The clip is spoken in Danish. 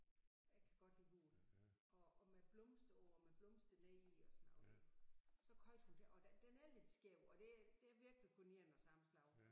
Jeg kan godt lide gul og og med blomster og med blomsterløg og sådan noget så købte hun den og den er lidt skæv og der der er virkelig kun én af samme slags